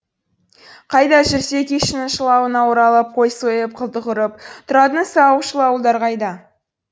қайда жүрсе күйшінің шылауына оралып қой сойып құлдық ұрып тұратын сауықшыл ауылдар қайда